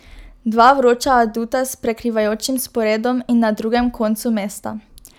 Dva vroča aduta s prekrivajočim sporedom in na drugem koncu mesta.